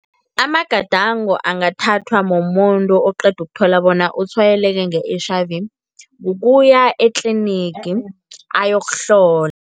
Amagadango angathathwa mumuntu oqeda ukuthola bona utshwayeleke nge-H_I_V ukuya etlinigi ayokuhlola.